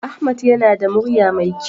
Ahmed yana da murya mai kyau.